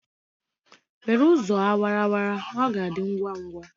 Were ụzọ awara awara! ọ ga-adị ngwa ngwa